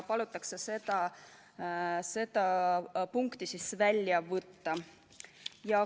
Palutakse see punkt välja võtta.